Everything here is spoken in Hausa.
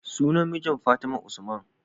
Sunan mijin fatima usman